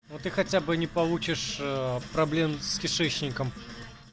ну ты хотя бы не получишь аа проблем с кишечником